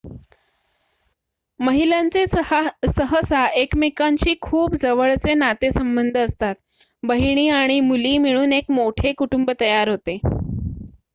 महिलांचे सहसा एकमेकांशी खूप जवळचे नातेसंबंध असतात बहिणी आणि मुली मिळून एक मोठे कुटुंब तयार होते